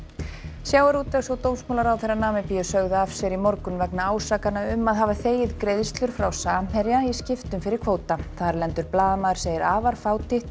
sjávarútvegs og dómsmálaráðherra Namibíu sögðu af sér í morgun vegna ásakana um að hafa þegið greiðslur frá Samherja í skiptum fyrir kvóta þarlendur blaðamaður segir afar fátítt að